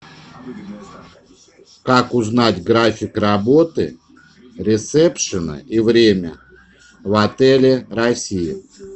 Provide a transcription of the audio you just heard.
как узнать график работы ресепшена и время в отеле россия